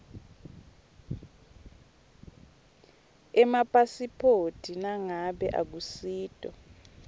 emapasiphoti nangabe akusito